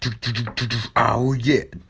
ты аудио